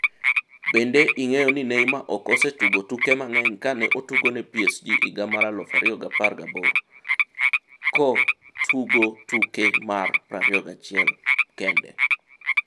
Bende ing'eyo ni Neymar ok osetugo tuke mang'eny kane otugone PSG higa mar 2018 ko tugo tuke mari 21 kende